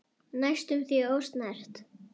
Næstum því ósnert.